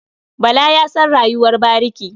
Bala ya san rayuwar bariki.